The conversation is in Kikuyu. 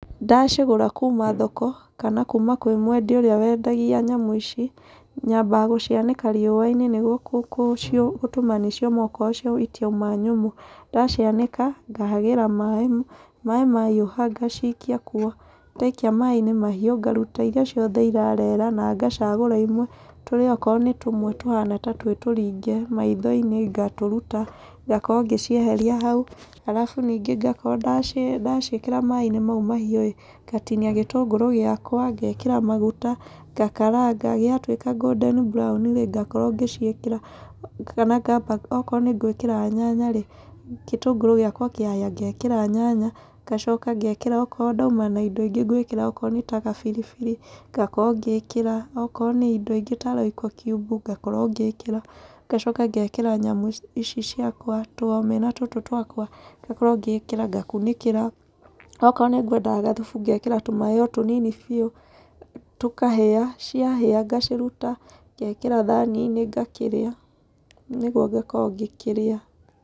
Ndacigũra kuuma thoko, kana kuuma kwĩ mwendia ũrĩa wendagia nyamũ ici, nyambaga gũcianĩka riũa-inĩ nĩguo gũtũma nĩ cioma okorwo itiuma nyũmũ. Ndacianĩka, ngahagĩra maĩ, maĩ mahiũha ngacikia kuo. Ndaikia maĩ-inĩ mahiũ, ngaruta irĩa ciothe irarera, na ngacagũra imwe. Tũrĩa okorwo nĩ ta tũmwe tũhana ta twĩ tũringe maitho-inĩ, ngatũruta, ngakorwo ngĩcieheria hau. Arabu nyingĩ ngakorwo ndaciĩkĩra maĩ-inĩ mau mahiũ ĩĩ, ngatinia gĩtũngũrũ gĩakwa, ngekĩra maguta, ngakaranga. Gĩatuĩka golden brown rĩ, ngakorwo ngĩciĩkĩra. Kana ngamba okorwo nĩ ngwĩkĩra nyanya rĩ, gĩtũngũrũ gĩakwa kĩahĩa ngekĩra nyanya, ngacoka ngekĩra okoro ndauma na indo ingĩ ngwĩkĩra, okoro nĩ ta biribiri, ngakorwo ngĩkĩra, okoro nĩ indo ingĩ ta royco kiubu ngakorwo ngĩkĩra. Ngacoka ngekĩra nyamũ ici ciakwa tũomena tũtũ twakwa, ngakorwo ngĩkĩra, ngakunĩkĩra. Okorwo nĩ ngwendaga gathubu, ngekĩra tũmaĩ o tũnini biũ, tũkahĩa. Ciahĩa ngaciruta ngekĩra thani-inĩ ngakĩrĩa nĩguo ngĩkorwo ngĩkĩrĩa.